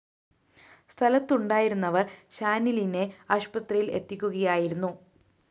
സ്ഥലത്തുണ്ടായിരുന്നവര്‍ ഷാനിലിനെ ആശുപത്രിയില്‍ എത്തിക്കുകയായിരുന്നു